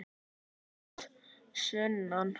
Sögur að sunnan.